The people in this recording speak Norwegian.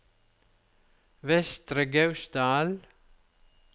Vestre Gausdal